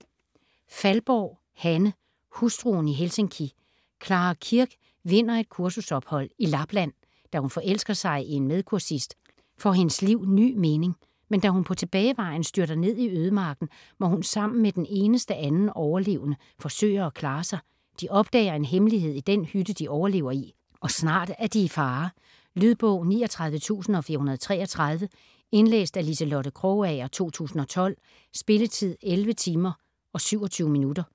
Faldborg, Hanne: Hustruen i Helsinki Clara Kirk vinder et kursusophold i Lapland. Da hun forelsker sig i en medkursist, får hendes liv ny mening. Men da hun på tilbagevejen styrter ned i ødemarken, må hun sammen med den eneste anden overlevende, forsøge at klare sig. De opdager en hemmelighed i den hytte, de overlever i, og snart er de i fare. Lydbog 39433 Indlæst af Liselotte Krogager, 2012. Spilletid: 11 timer, 27 minutter.